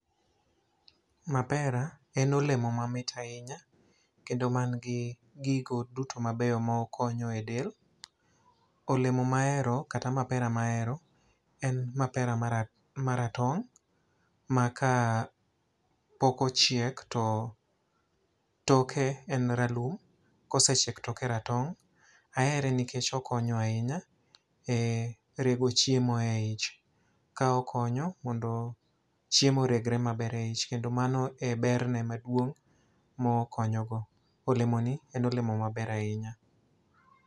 Mapera en olemo mamit ahinya, kendo manigi gigo duto mabeyo ma okonyo e del. Olemo ma ahero, kata mapera ma ahero, en mapera mara, maratong' maka pok ochiek to toke en ralum. Kosechiek toke ratong'. Ahere nikech okonyo ahinya e rego chiemo e ich, ka okonyo mondo chiemo oregre maber e ich. Kendo mano e berene maduong ma okonyo go. Olemo ni en olemo maber ahinya.